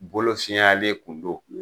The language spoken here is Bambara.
Bolo siyalen kun don.